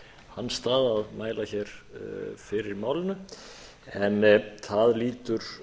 hans stað að mæla hér fyrir málinu en það lýtur